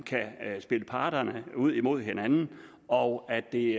kan spille parterne ud mod hinanden og at det